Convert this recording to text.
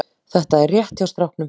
Þetta er rétt hjá stráknum.